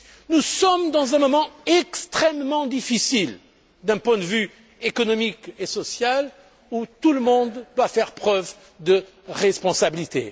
Nous nous trouvons à un moment extrêmement difficile d'un point de vue économique et social et où tout le monde doit faire preuve de responsabilité.